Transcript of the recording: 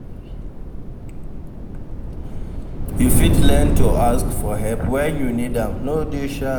You fit learn to ask for help when you need am, no dey shy.